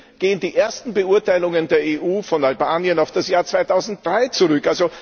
Immerhin gehen die ersten Beurteilungen der EU von Albanien auf das Jahr 2003 zurück.